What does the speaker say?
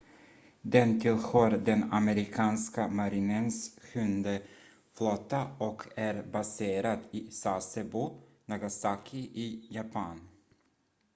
den tillhör den amerikanska marinens sjunde flotta och är baserad i sasebo nagasaki i japan